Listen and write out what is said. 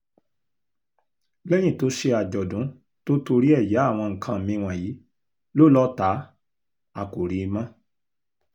lẹ́yìn tó ṣe àjọ̀dún tó torí ẹ̀ ya àwọn nǹkan mi wọ̀nyí ló lọ tá a kò rí i mọ́